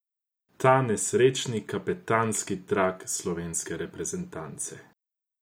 Ta nesrečni kapetanski trak slovenske reprezentance.